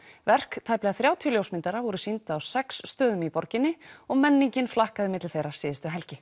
verk tæplega þrjátíu ljósmyndara voru sýnd á sex stöðum í borginni og menningin flakkaði milli þeirra síðustu helgi